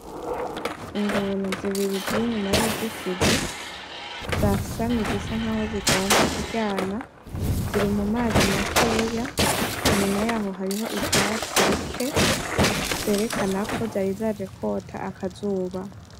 Ingona zibiri ziri inyuma yuruzitizi zasamye zisa nkaho zigomba kuryana ziri mumazi makeya inyuma yaho hariho ivyatsi bike vyerekana ko zari zaje kota akazuba .